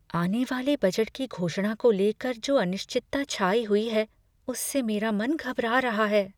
आने वाले बजट की घोषणा को लेकर जो अनिश्चितता छाई हुई है, उससे मेरा मन घबरा रहा है।